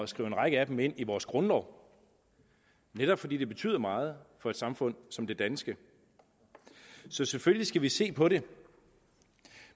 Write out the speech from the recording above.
skrive en række af dem ind i vores grundlov netop fordi de betyder meget for et samfund som det danske så selvfølgelig skal vi se på dem